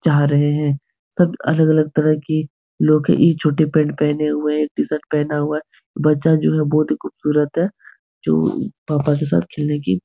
चाह रहें हैं सब अलग-अलग तरह की लोग ई छोटे पैंट पहने हुए है एक टी-शर्ट पहना हुआ है बच्चा जो है बहुत ही खूबसूरत है जो पापा के साथ खेलने की --